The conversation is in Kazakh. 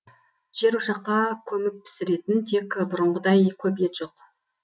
жерошаққа көміп пісіретін тек бұрынғыдай көп ет жоқ